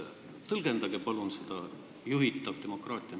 Tõlgendage palun seda juhitavat demokraatiat.